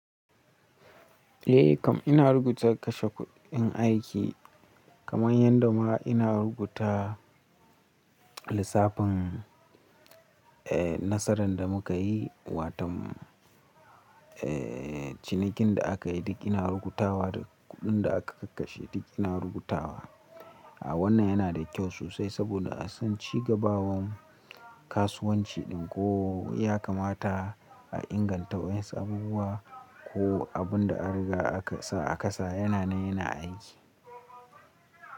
Eh kam ina rubuta kashe kuɗin aiki kamar yadda ma ina rubuta lissafin eh nasaran da muka yi, watom eh cinikin da aka yi duk ina rubutawa da kuɗin da aka kakkashe duk ina rubutawa. A wannan yana da kyau sosai saboda a san cigabawan kasuwanci ɗin ko ya kamata a inganta wa'en su abubuwa ko abun da an riga aka sa a kasa yana nan yana aiki.